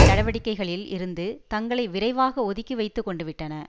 நடவடிக்கைகளில் இருந்து தங்களை விரைவாக ஒதுக்கி வைத்து கொண்டுவிட்டன